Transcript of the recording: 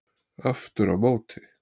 Aftur á móti